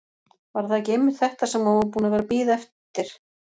Var það ekki einmitt þetta sem hún var búin að vera að bíða eftir?